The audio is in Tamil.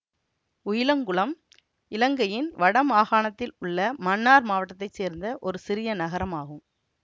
உயிலங்குளம் இலங்கையின் வடமாகாணத்தில் உள்ள மன்னார் மாவட்டத்தை சேர்ந்த ஒரு சிறிய நகரம் ஆகும்